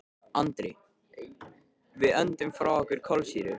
Andri: Við öndum frá okkur kolsýru.